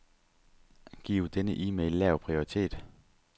Giv denne e-mail lav prioritet.